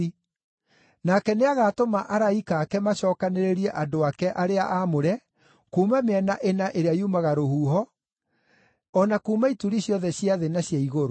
Nake nĩagatũma araika ake macookanĩrĩrie andũ ake arĩa aamũre kuuma mĩena ĩna ĩrĩa yumaga rũhuho, o na kuuma ituri ciothe cia thĩ na cia igũrũ.